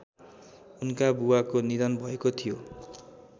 उनका बुबाको निधन भएको थियो